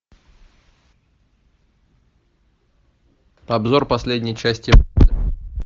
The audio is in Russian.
обзор последней части